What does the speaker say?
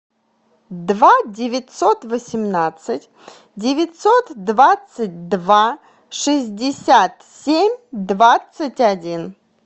два девятьсот восемнадцать девятьсот двадцать два шестьдесят семь двадцать один